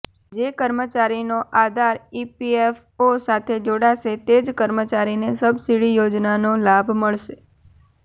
જે કર્મચારીનો આધાર ઇપીએફઓ સાથે જોડાશે તે જ કર્મચારીને સબસિડી યોજનાનો લાભ મળશે